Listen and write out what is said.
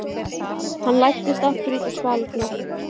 Hann læddist aftur út á svalirnar.